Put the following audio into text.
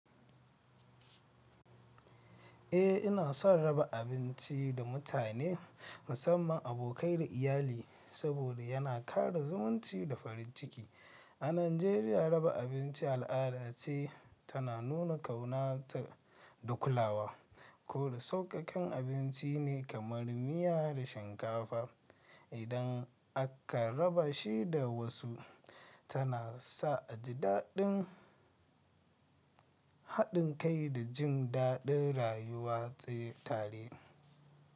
Eh, ina son raba abinci da mutane, musamman abokai da iyali, saboda yana ƙara zumunci da farin ciki. A Najeriya, raba abinci al'ada ce tana nuna ƙaunata da kulawa. Ko da sauƙaƙƙen abinci ne kamar miya da shinkafa, idan aka raba shi da wasu, tana sa a ji haɗin kai da jin daɗin rayuwa tsaye tare.